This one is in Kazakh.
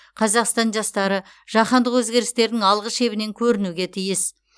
қазақстан жастары жаһандық өзгерістердің алғы шебінен көрінуге тиіс